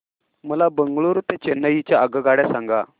मला बंगळुरू ते चेन्नई च्या आगगाड्या सांगा